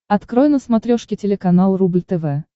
открой на смотрешке телеканал рубль тв